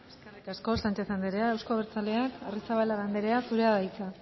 eskerrik asko sánchez andrea euzko abertzaleak arrizabalaga andrea zurea da hitza